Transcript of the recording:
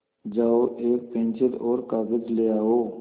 जाओ एक पेन्सिल और कागज़ ले आओ